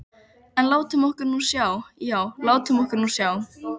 En látum okkur nú sjá, já, látum okkur nú sjá.